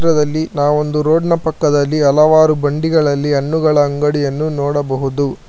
ಪಕ್ಕದಲ್ಲಿ ನಾವೋಂದು ರೋಡ್ ನ ಪಕ್ಕದಲ್ಲಿ ಹಲವಾರು ಬಂಡಿಗಳಲ್ಲಿ ಹಣ್ಣುಗಳ ಅಂಗಡಿಯನ್ನು ನೋಡಬಹುದು.